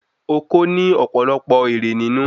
Oko ni òpòlopò ere ninu